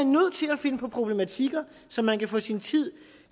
finde på problematikker som man kan få sin tid